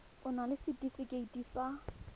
o na le setefikeiti sa